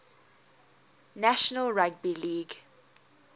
national rugby league